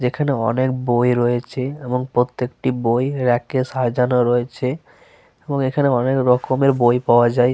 যেখানে অনেক বই রয়েছে এবং প্রত্যেকটি বই রেকে সাজানো রয়েছে এবং এখানে অনেক রকমের বই পাওয়া যায়।